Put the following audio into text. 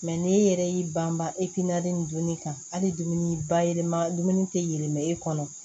n'e yɛrɛ y'i ban e pi nali ni dunni kan hali dumuni bayɛlɛma dumuni tɛ yɛlɛma e kɔnɔ